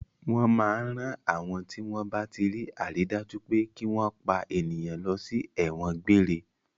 Wọ́n máa ń rán àwọn tí wọ́n bá tí rí àrídájú pé kí wọ́n pa ènìyàn lọ sí ẹ̀wọ̀n gbére.